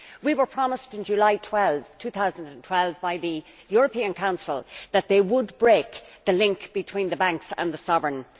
We were promised in July2012 by the European Council that it would break the link between the banks and the sovereign.